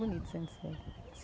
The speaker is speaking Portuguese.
Bonito Centro-Sé.